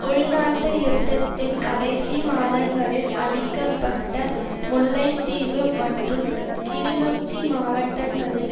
உள்நாட்டு யுத்தத்தின் கடைசி மாதங்களில் அழிக்க பட்ட முல்லைத்தீவு மற்றும் கிளிநொச்சி மாவட்டங்களில்